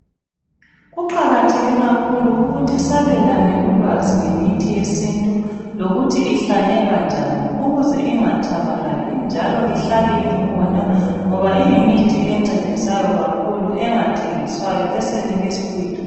Kuqakatheke kakhulu ukuthi sabelane ulwazi ngemithi yesintu lokuthi ihlanyelwa njani ukuze ingatshabalali njalo ihlale ikhona ngoba iyimithi encedisayo kakhulu engathengiswayo esenelisa ukuyithola.